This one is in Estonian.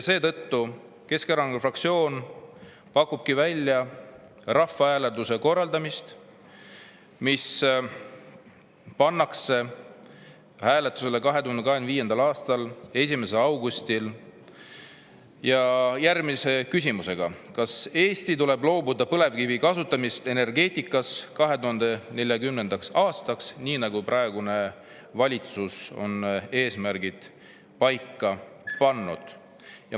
Seetõttu Keskerakonna fraktsioon pakubki välja, et korraldatakse rahvahääletus ja 2025. aasta 1. augustil pannakse hääletusele järgmine küsimus: "Kas Eestis tuleb loobuda põlevkivi kasutamisest energeetikas 2040. aastaks?", nii nagu praegune valitsus on eesmärgid paika pannud.